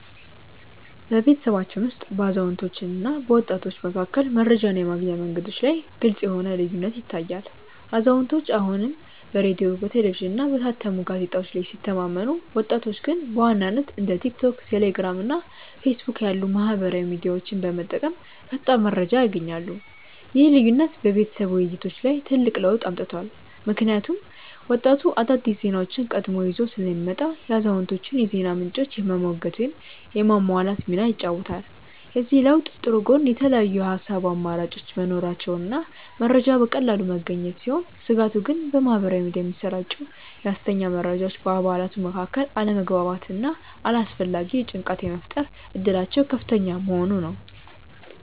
በቤተሰባችን ውስጥ በአዛውንቶችና በወጣቶች መካከል መረጃን የማግኛ መንገዶች ላይ ግልጽ የሆነ ልዩነት ይታያል፤ አዛውንቶቹ አሁንም በሬዲዮ፣ በቴሌቪዥንና በታተሙ ጋዜጦች ላይ ሲተማመኑ፣ ወጣቶቹ ግን በዋናነት እንደ ቲክቶክ፣ ቴሌግራም እና ፌስቡክ ያሉ ማኅበራዊ ሚዲያዎችን በመጠቀም ፈጣን መረጃ ያገኛሉ። ይህ ልዩነት በቤተሰብ ውይይቶች ላይ ትልቅ ለውጥ አምጥቷል፤ ምክንያቱም ወጣቱ አዳዲስ ዜናዎችን ቀድሞ ይዞ ስለሚመጣ የአዛውንቶቹን የዜና ምንጮች የመሞገት ወይም የማሟላት ሚና ይጫወታል። የዚህ ለውጥ ጥሩ ጎን የተለያዩ የሐሳብ አማራጮች መኖራቸውና መረጃ በቀላሉ መገኘቱ ሲሆን፣ ስጋቱ ግን በማኅበራዊ ሚዲያ የሚሰራጩ የሐሰተኛ መረጃዎች በአባላቱ መካከል አለመግባባትና አላስፈላጊ ጭንቀት የመፍጠር እድላቸው ከፍተኛ መሆኑ ነው።